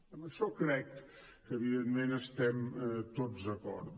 en això crec que evidentment estem tots d’acord